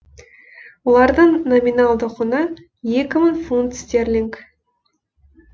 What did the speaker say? олардың номиналды құны екі мың фунт стерлинг